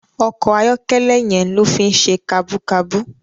Òkò àyòkèlè yèn ló fi n sé kàbúkàbú